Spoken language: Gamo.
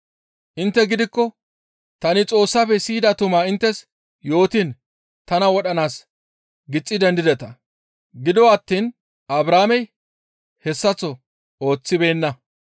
Intte gidikko tani Xoossafe siyida tumaa inttes yootiin tana wodhanaas gixxi dendideta. Gido attiin Abrahaamey hessaththo ooththibeenna.